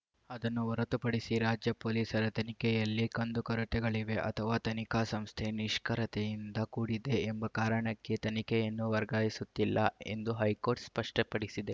ಅದನ್ನು ಹೊರತುಪಡಿಸಿ ರಾಜ್ಯ ಪೊಲೀಸರ ತನಿಖೆಯಲ್ಲಿ ಕಂದು ಕೊರತೆಗಳಿವೆ ಅಥವಾ ತನಿಖಾ ಸಂಸ್ಥೆ ನಿಷ್ಕಿ್ರಯತೆಯಿಂದ ಕೂಡಿದೆ ಎಂಬ ಕಾರಣಕ್ಕೆ ತನಿಖೆಯನ್ನು ವರ್ಗಾಯಿಸುತ್ತಿಲ್ಲ ಎಂದು ಹೈಕೋರ್ಟ್‌ ಸ್ಪಷ್ಟಪಡಿಸಿದೆ